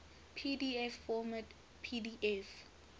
pdf format pdf